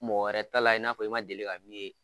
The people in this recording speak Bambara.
Mɔgɔ wɛrɛ ta layɛ i n'a fɔ i ma deli ka min ye.